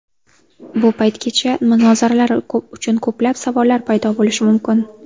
Bu paytgacha munozaralar uchun ko‘plab savollar paydo bo‘lishi mumkin.